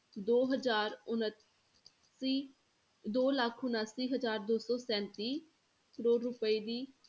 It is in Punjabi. ਦੋ ਹਜ਼ਾਰ ਉਣਾਸੀ ਦੋ ਲੱਖ ਉਣਾਸੀ ਹਜ਼ਾਰ ਦੋ ਸੌ ਸੈਂਤੀ ਕਰੌੜ ਰੁਪਏ ਦੀ,